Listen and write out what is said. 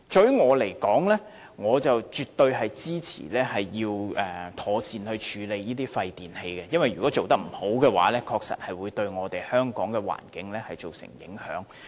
於我而言，我絕對支持應妥善處理廢電器，因為如果未能妥善處理，確實會對香港的環境造成影響。